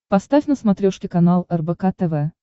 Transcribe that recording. поставь на смотрешке канал рбк тв